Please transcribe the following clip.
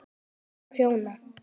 Og prjóna.